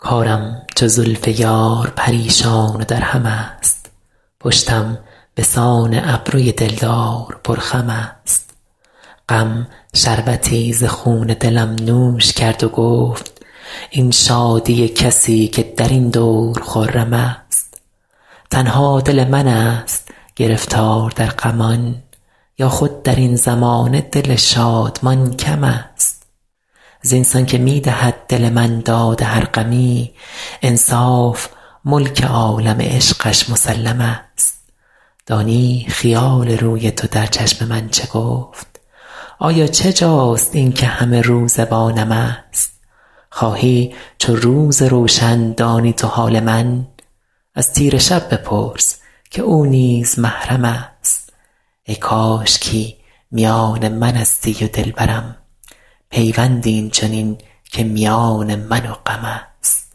کارم چو زلف یار پریشان و درهم است پشتم به سان ابروی دل دار پرخم است غم شربتی ز خون دلم نوش کرد و گفت این شادی کسی که در این دور خرم است تنها دل من ست گرفتار در غمان یا خود در این زمانه دل شادمان کم است زین سان که می دهد دل من داد هر غمی انصاف ملک عالم عشقش مسلم است دانی خیال روی تو در چشم من چه گفت آیا چه جاست این که همه روزه با نم است خواهی چو روز روشن دانی تو حال من از تیره شب بپرس که او نیز محرم است ای کاشکی میان من استی و دل برم پیوندی این چنین که میان من و غم است